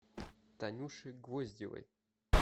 танюше гвоздевой